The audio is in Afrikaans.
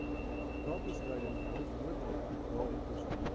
brandbestryding noodhulp radioprosedure